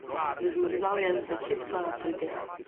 Zmrzal je zdesetkala pridelek.